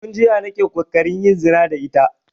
Tun jiya nake ƙoƙarin yin zina da ita